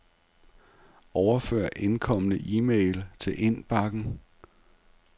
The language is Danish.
Overfør indkomne e-mail til indbakken.